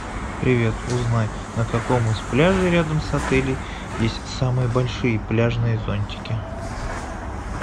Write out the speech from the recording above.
привет узнай на каком из пляжей рядом с отелем есть самые большие пляжные зонтики